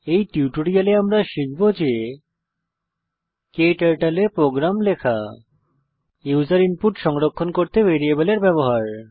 এই টিউটোরিয়ালে আমরা শিখব যে ক্টার্টল এ প্রোগ্রাম লেখা এবং ইউসার ইনপুট সংরক্ষণ করতে ভ্যারিয়েবলের ব্যবহার